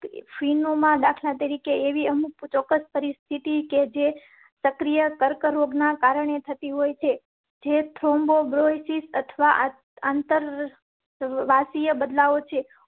દાખલા તરીકે એવી અમુક ચોક્કસ પરિસ્થિતિ કે જે પ્રક્રિયા કર્કરોગ ના કારણે થતી હોય છે જે થ્રોમ્બો સિસ અથવા અંતરવાસીયો બદલાવો છે